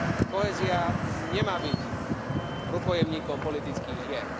Kohézia nemá byť rukojemníkom politických hier.